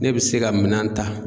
Ne bi se ka minan ta